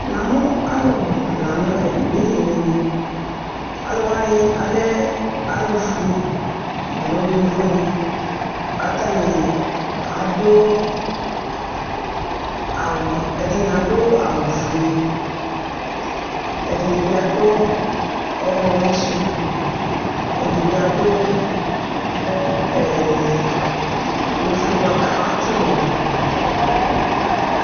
Namʋ alʋbʋ la ɛmɛ edini yɛ nʋ ɛmɛ Alʋ wanɩ alɛ alʋfue alo yovonɩ kʋ atanɩ adʋ awʋ ɛdɩnɩ adʋ awʋfue Ɛdɩnɩ bɩ adʋ ɔɣlɔmɔ sʋ Ɛdɩ bɩ adʋ ee ofue bʋa kʋ atsɩ ʋlɔ dʋ